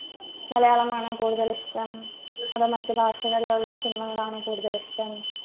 മലയാളമാണോ കൂടുതൽ ഇഷ്ട്ടം അതോ മറ്റു ഭാഷകളിലുള്ള cinema കളാണോ കൂടുതൽ ഇഷ്ടം